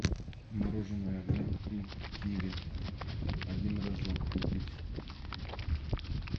мороженое бон при киви один рожок купить